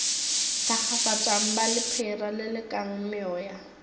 thakgafatšang ba lephera lelekang meoya